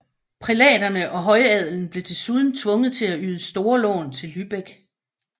Prælaterne og højadelen blev desuden tvunget til at yde store lån til Lübeck